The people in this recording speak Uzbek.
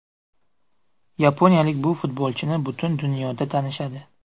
Yaponiyalik bu futbolchini butun dunyoda tanishadi.